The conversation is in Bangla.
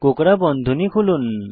কোঁকড়া বন্ধনী খুলুন